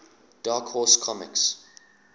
dark horse comics